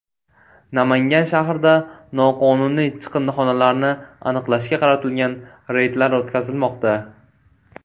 Namangan shahrida noqonuniy chiqindixonalarni aniqlashga qaratilgan reydlar o‘tkazilmoqda.